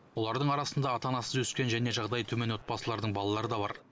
олардың арасында ата анасыз өскен және жағдайы төмен отбасылардың балалары да бар